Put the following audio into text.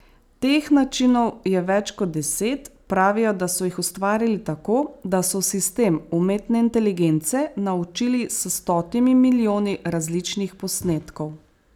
Teh načinov je več kot deset, pravijo, da so jih ustvarili tako, da so sistem umetne inteligence naučili s stotimi milijoni različnih posnetkov.